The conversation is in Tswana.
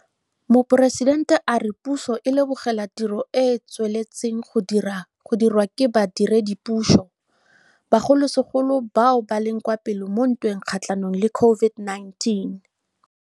Moporesitente a re puso e lebogela tiro e e tsweletseng go dirwa ke badiredipuso, bogolosegolo bao ba leng kwa pele mo ntweng kgatlhanong le COVID-19.